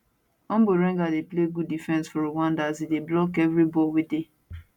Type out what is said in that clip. omborenga dey play good defence for rwanda as e dey block everi ball wey dey